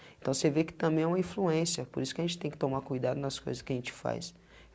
Então você vê que também é uma influência, por isso que a gente tem que tomar cuidado nas coisas que a gente faz.